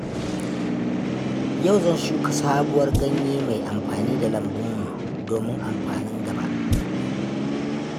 Yau zan shuka sabuwar ganye mai amfani a lambunmu domin amfanin gaba.